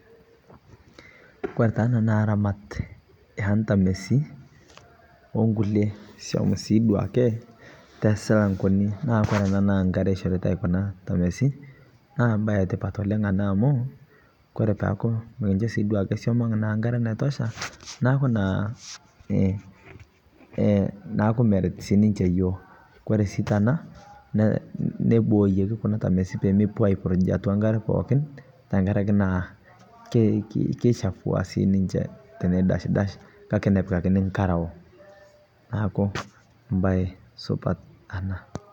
Ore taa ana naa ramaat e ntameesi o nkulee song'oesi duake te silang'oni. Naa kore ena na nkaare eishoritai kunaa ntameesi, naa bayi entipaat oleng' ana amu kore paaku meikishoo sii duake shomoong' nkaare neitoshaa naaku naa eeh naaku meeret sii ninchee yook. Kore sii tenaa neibooyeki kuna ntaamesi pee mepoo aiburuuj te nkaare pookin tang'araki naa keishafua sii ninchee tenedasdas, kaki nepikakini nkaarau naaku bayi supaat ena.